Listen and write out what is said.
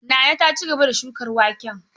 Nana ta ci gaba da shukar waken.